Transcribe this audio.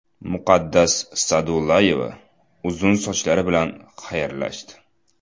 Muqaddas Sa’dullayeva uzun sochlari bilan xayrlashdi.